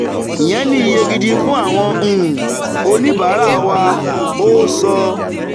ìyẹn ni iye gidi fún àwọn um oníbàárà wa" ó so.